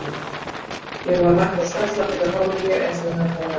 Ég var mætt á Skalla klukkan hálf níu eins og við höfðum talað um.